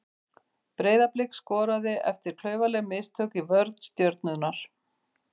Breiðablik skoraði eftir klaufaleg mistök í vörn Stjörnunnar.